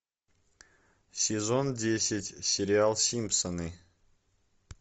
сезон десять сериал симпсоны